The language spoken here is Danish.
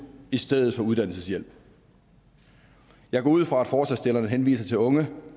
i stedet for uddannelseshjælp jeg går ud fra at forslagsstillerne henviser til unge